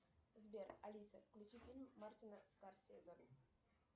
сбер алиса включи фильм мартина скорсезе